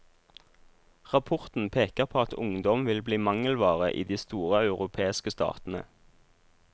Rapporten peker på at ungdom vil bli mangelvare i de store europeiske statene.